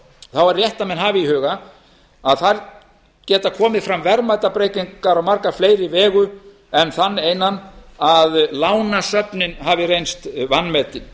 þá er rétt að menn hafi í huga að þar geta komið fram verðmætabreytingar á marga fleiri vegu en þann einan að lánasöfnin hafi reynst vanmetin